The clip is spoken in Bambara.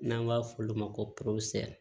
N'an b'a f'olu ma ko